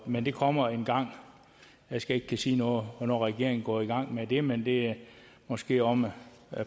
men det kommer engang jeg skal ikke kunne sige noget om hvornår regeringen går i gang med det men det er måske om et